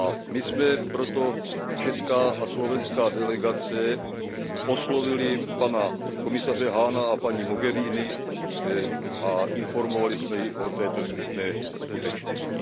My jsme proto, česká a slovenská delegace, oslovili pana komisaře Hahna a paní Mogheriniovou a informovali jsme je o této smutné skutečnosti.